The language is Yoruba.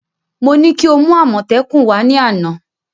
Mo ní kí o mú àmọ́tẹ́kùn wá ní àná